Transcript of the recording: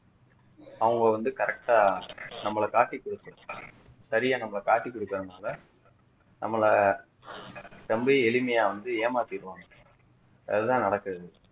அவங்க வந்து correct ஆ நம்மள காட்டி குடுத்துரும் சரியா நம்மள காட்டி குடுக்குறதுநாளா நம்மள ரொம்ப எளிமையா வந்து ஏமாத்திருவாங்க அதுதான் நடக்குது